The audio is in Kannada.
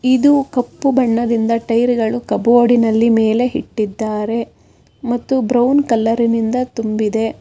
ಇದು ಕಪ್ಪು ಬಣ್ಣದಿಂದ ಟೈರ ಗಳು ಕಭೊಡಿ೯ ನಲ್ಲಿ ಮೇಲೆ ಇಟ್ಟಿದಾರೆ ಮತ್ತು ಬ್ರೌನ್ ಕಲರಿನಿಂದ ತುಂಬಿದೆ.